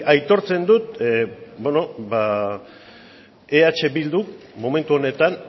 aitortzen dut ba beno eh bilduk momentu honetan